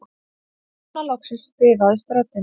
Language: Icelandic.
Núna loksins bifaðist röddin